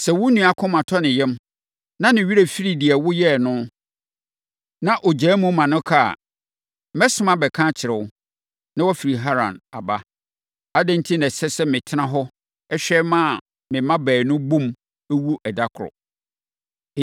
Sɛ wo nua akoma tɔ ne yam, na ne werɛ firi deɛ woyɛɛ no, na ɔgyaa mu ma ɛka a, mɛsoma abɛka akyerɛ wo, na woafiri Haran aba. Adɛn enti na ɛsɛ sɛ metena hɔ hwɛ, na me mma baanu bom wu ɛda koro?”